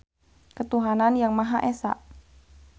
Ketuhanan Yang Maha Esa.